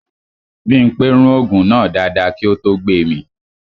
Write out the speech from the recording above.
Bímpé rún ògùn náà dáadáa kí ó tó gbemì